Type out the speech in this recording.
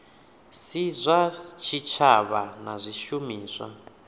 si zwa tshitshavha na zwishumiswa